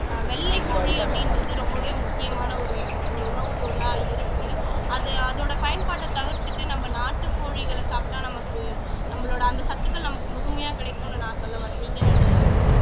வெள்ளை கோழி அப்படின்றது ரொம்பவே முக்கியமான ஒரு ஒரு உணவுப் பொருளா இருக்கு அது அதோட பயன்பாட்டை தவிர்த்துட்டு நம்ம நாட்டுக்கோழிகளை சாப்பிட்டா நமக்கு நம்மளோட அந்த சத்துக்கள் நமக்கு முழுமையா கிடைக்கும்ன்னு நான் சொல்ல வர்றேன் நீங்க என்ன நினைக்கிறீங்க